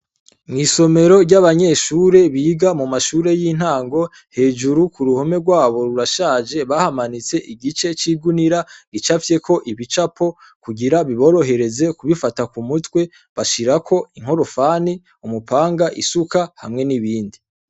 Mw'isomero ry'abanyeshure biga mu mashure y'intango hejuru ku ruhome rwabo rurashaje bahamanitse igice c'igunira gicavyeko ibicapo kugira biborohereze kubifata ku mutwe bashirako inkorofani umupanga isuka hamwe n'ibindi.